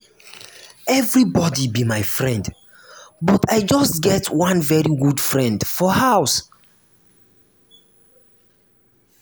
everybody be my friend but i just get one very good friend for house